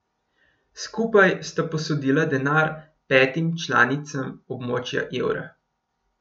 Skupaj sta posodila denar petim članicam območja evra.